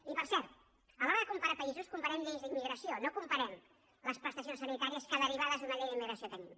i per cert a l’hora de comparar països comparem lleis d’immigració no comparem les prestacions sanitàries que derivades d’una llei d’immigració tenim